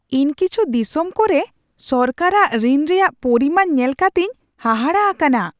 ᱤᱧ ᱠᱤᱪᱷᱩ ᱫᱤᱥᱚᱢ ᱠᱚᱨᱮ ᱥᱚᱨᱠᱟᱨᱟᱜ ᱨᱤᱱ ᱨᱮᱭᱟᱜ ᱯᱚᱨᱤᱢᱟᱱ ᱧᱮᱞ ᱠᱟᱛᱮᱧ ᱦᱟᱦᱟᱲᱟ ᱟᱠᱟᱱᱟ ᱾